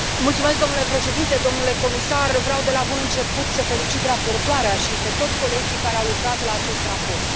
Mulțumesc domnule președinte, domnule comisar, vreau de la bun început să felicit raportoarea și pe toți colegii care au lucrat la acest raport.